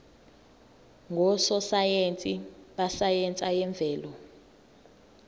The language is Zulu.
ngososayense besayense yemvelo